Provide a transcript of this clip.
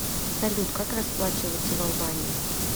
салют как расплачиваться в албании